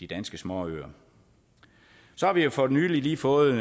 danske småøer så har vi jo for nylig lige fået